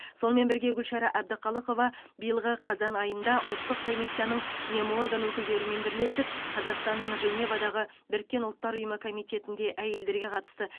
сонымен бірге гүлшара әбдіқалықова биылғы қазан айында ұлттық комиссияның меморган өкілдерімен бірлесіп қазақстанның женевадағы біріккен ұлттар ұйымы комитетінде әйелдерге қатысты